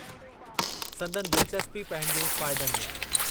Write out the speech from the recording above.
संदनि दिलचस्पी पंहिंजे फ़ाइदनि में।